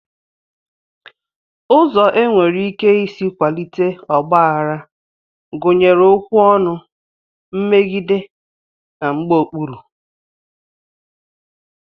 Ụzọ e nwere ike isi kwalite ọgbaghara gụnyere okwu ọnụ, mmegide, mgbaokpuru